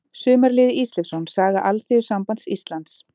Sumarliði Ísleifsson: Saga Alþýðusambands Íslands.